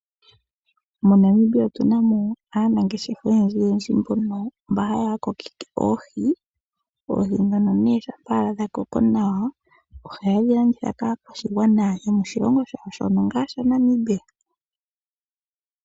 Monamibia otuna mo aanangeshefa oyendji yendji mbono mba haa kokeke oohi. Oohi dhono nee shampa dhakoko nawa ohayedhi landitha kaakwashigwana yomoshilongo shawo shono ngaa shaNamibia.